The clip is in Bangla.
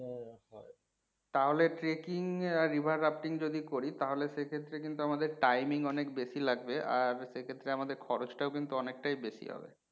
তাহলে trekking আর river যদি করি তালে সেক্ষেত্রে আমাদের কিন্তু timing অনেক বেশি লাগবে আর সেক্ষেত্রে আমাদের খরচ টাও কিন্তু অনেকটাই বেশি হবে।